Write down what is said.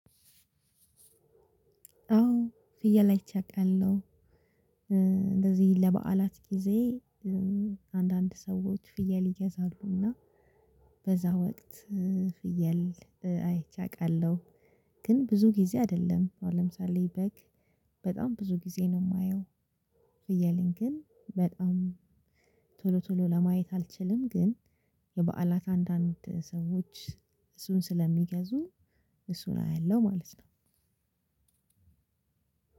አዎ ፍየል አይቸ አቃለሁ። እንደዚህ ለበዓላት ጊዜ። አንዳንድ ሰዎች ፍየል ይገዛሉና። በዛ ወቅት። ፍየል አይቼ አቃለሁ። ግን ብዙ ጊዜ አደለም አሁን ለምሳሌ በግ በጣም ብዙ ጊዜ ነው ማየው። ፍየልን ግን በጣም ቶሎ ቶሎ ለማየት አልችልም። ግን የበዓላት አንዳንድ ሰዎች እሱን ስለሚገዙ እሱን አያለሁ ማለት ነው።